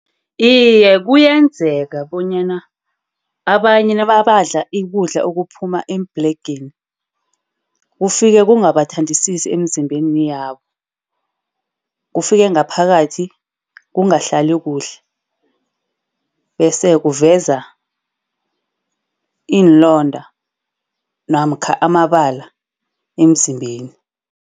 Iye, kuyenzeka bonyana abanye nabadla ukudla okuphuma ebhlegeni kufike ngabathandisisi emzimbeni yabo. Kufike ngaphakathi kungahlali kuhle, bese kuveza iinlonda namkha amabala emzimbeni.